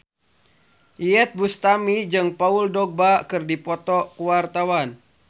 Iyeth Bustami jeung Paul Dogba keur dipoto ku wartawan